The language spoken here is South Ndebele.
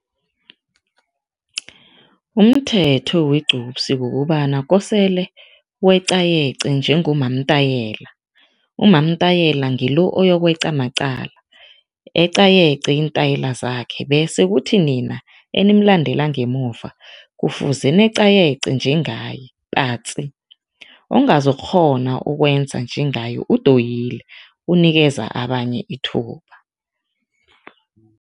Umthetho wegcupsi kukobana kosele weqayeqe njengomamtayela. Umamtayela ngilo oyokweqa maqala, eqayeqe iintayela zakhe bese kuthi nina enimlandela ngemuva, kufuze neqayeqe njengaye patsi, ongazokukghona ukwenza njengaye udoyile, unikeza abanye ithuba.